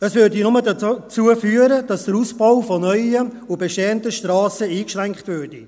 Dies würde nur dazu führen, dass der Ausbau von neuen und bestehenden Strassen eingeschränkt würde.